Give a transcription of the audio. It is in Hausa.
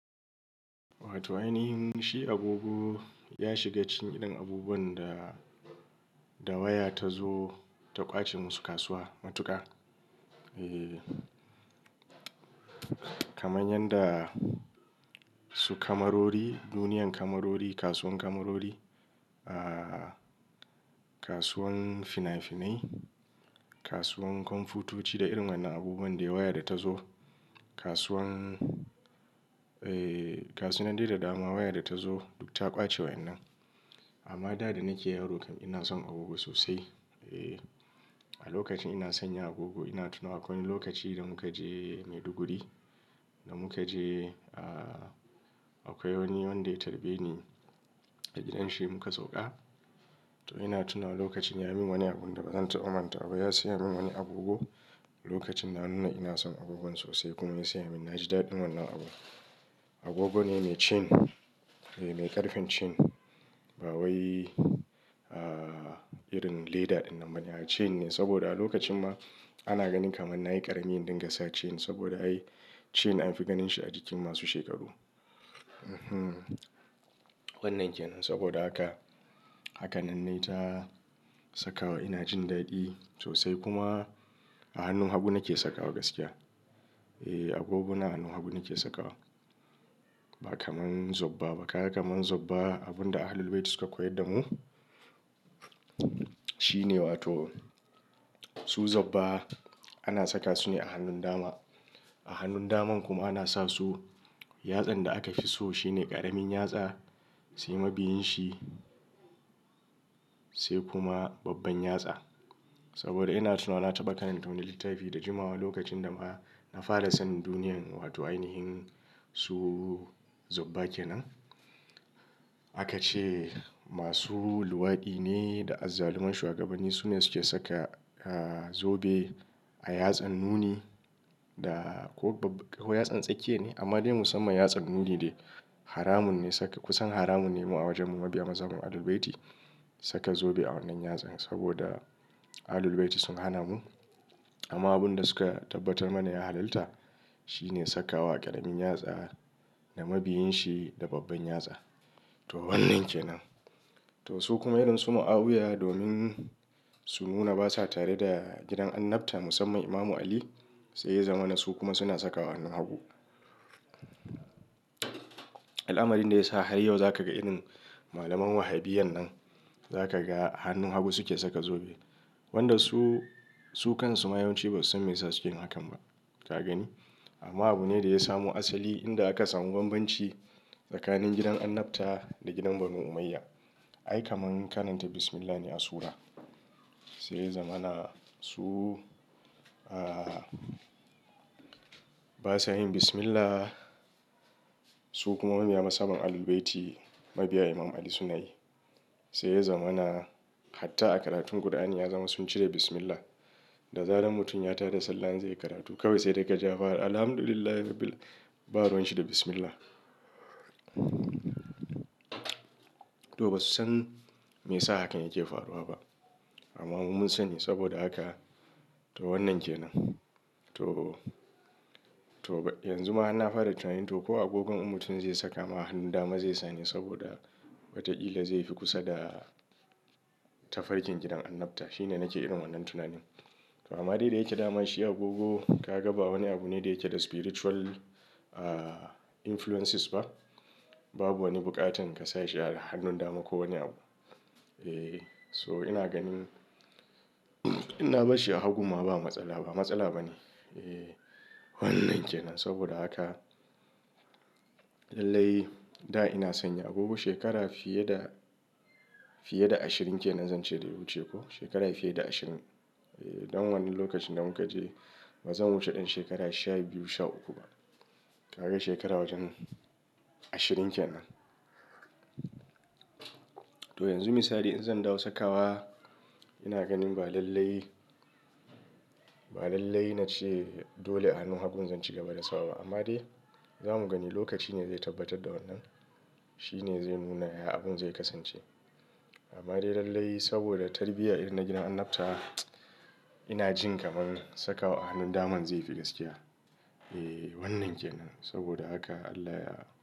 Wato ainihin shi agogo ya shiga cikin irin abubuwan da waya tazo ta ƙwace masu kasuwa, Matuka Eee. Kaman yanda su kamarori, duniyan kamarori, kasuwan kamarori, kasuwan fina-finai, kasuwan kwamfutoci da irin wa'innan abubuwan da waya da ta zo. Kasuwan, eh gasunan dai da dama waya data zo duk ta ƙwace wa'innan. Amma da danake yaro kam ina son agogo sosai. A lokacin ina sanya agogo ina tunawa akwai wani lokaci da muka je Maiduguri, da muka je ahh, akwai wani wanda ya tarbeni a gidanshi muka sauka. To ina tunawa lokacin yamin wani abunda bazan taɓa mantawaba. Ya siyamin wani agogo. Lokacin na nuna ina son agogon sosai, kuma ya siyamin, naji daɗin wannan abun. Agogo ne mai chain, mai ƙarfen chain. Ba wai ahh irin leda ɗinnan ba ne, ah chain ne. Saboda a lokacin ma, ana ganin kamar nayi ƙarami in dingasa chain saboda ai chain anfi ganin shi a jikin masu shekaru. Wannan kenan. Saboda haka, haka nan naita sakawa ina jin daɗi sosai. Kuma a hannun hagu nake sakawa gaskiya. Agogo na a hannun hagu nake sakawa. Ba kamar zobba ba. Kaga kamar zobba abunda Ahlul Bayti suka koyar damu shine wato su zobba ana saka sune a hannun dama. A hannun daman kuma ana sasu, yatsan da aka fi so shine ƙaramin yatsa, sai mabiyin shi, sai kuma babban yatsa. Saboda ina tunawa na taɓa karanta wani littafi da jimawa lokacin dama na fara sanin duniyan wato ainihin su zobba kenan. Akace masu luwaɗine da azzaluman shuwagabanni sune suke saka zobe a yatsan nuni, da ko yatsan tsakiya ne. Amma dai musamman yatsan nuni de. Haramun ne saka, kusan haramun nema a wajen mu mabiya mazhaban Ahlul Bayti saka zobe a wannan yatsan. Saboda Ahlul Bayti sun hana mu. Amma abunda suka tabbatar mana ya halalta, shine sakawa a ƙaramin yatsa, da mabiyin shi da babban yatsa. To wannan ke nan. Tosu kuma irinsu mu'awuya domin su nuna basa tare da gidan Annabta musamman Imam Ali saiya zamana su kuma suna sakawa a hannun hagu. Al'amarin dayasa har yau zakaga irin malaman Wahhabiyyan nan zakaga a hannun hagu suke saka zobe. Wanda su, su kansu ma yawanci ba susan meyasa suke hakan ba, Ka gani? Amma abune daya samo asali inda aka samu bambanci tsakanin gidan Annabta da gidan Banu Umayyah. Ai kamar karanta Bismillah ne a surah. Saiya zamana su basa yin Bismillah. Su kuma mabiya mazhaban Ahlul Bayti, mabiya Imam Ali sunayi. Saiya zamana hatta a karatun Kur'ani ya zama sun cire Bismillah. Da zaran mutum ya tada sallah zai yi karatu kawai saidai kaji yafara Alhamdulillah rabbil ba ruwanshi da Bismillah. To ba su san me ya sa hakan yake faruwa ba. Amma mu munsani saboda haka. To wannan ke nan. To, to yanzu ma harna fara tunanin toko agogon in mutum zai saka ma a hannun dama zai sane saboda watakila zaifi kusada, tafarkin gidan Annabta. Shine nake irin wannan tunanin. To amma dai dayake damashi agogo kaga ba wani abune da yake da spiritual influences ba. Babu wani buƙatan ka sashi a hannun dama ko wani abu. Eh, So ina ganin, inna barshi a hagun ma ba matsala, ba matsala ba ne. Eh, Wannan kenan. Saboda haka lallai, da ina sanya agogo shekara fiye da, fiye da ashirin kenan zance daya wuce ko. Shekara fiye da ashirin. Don wannan lokacin da mukaje bazan wuce ɗan shekara sha biyu, sha uku ba. Kaga shekara wajen ashirin kenan. To yanzu misali in zan dawo sakawa ina ganin ba lallai, ba lallai nace dole a hannun hagun zan cigaba da sawaba. Amma dai zamu gani lokacine zai tabbatar da wannan. Shine zai nuna ya abin zai kasance. Amma dai lallai saboda tarbiyya irin na gidan Annabta, ina jin kamar sakawa a hannun daman zaifi gaskiya. Eh wannan kenan. Saboda haka Allah ya.